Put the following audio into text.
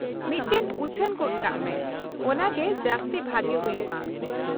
-ᱢᱤᱫᱴᱟᱝ ᱩᱪᱷᱟᱹᱱ ᱜᱚᱫ ᱠᱟᱜ ᱢᱮ, ᱚᱱᱟ ᱜᱮ ᱡᱟᱹᱥᱛᱤ ᱵᱷᱟᱜᱮ ᱦᱩᱭᱩᱜᱼᱟ ᱾